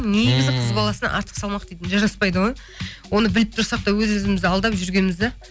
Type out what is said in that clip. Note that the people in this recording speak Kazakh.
негізі қыз баласына артық салмақ дейтін жараспайды ғой оны біліп тұрсақ та өз өзімізді алдап жүргенбіз де